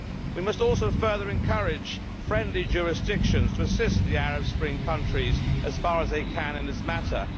We must also further encourage friendly jurisdictions to assist the Arab Spring countries as far as they can in this matter.